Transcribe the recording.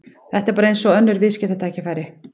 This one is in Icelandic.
Þetta er bara eins og önnur viðskiptatækifæri.